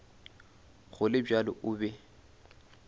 go le bjalo o be